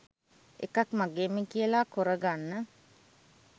එකක් මගේම කියල කොරගන්න